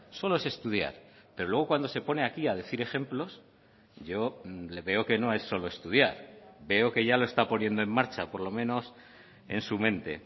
solo es estudiar pero luego cuando se pone aquí a decir ejemplos yo le veo que no es solo estudiar veo que ya lo está poniendo en marcha por lo menos en su mente